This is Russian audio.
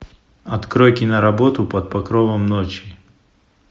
открой киноработу под покровом ночи